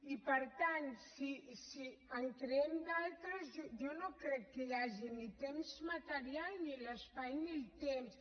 i per tant si en creem d’altres jo no crec que hi hagi ni temps material ni l’espai ni el temps